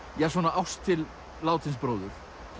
ást til látins bróður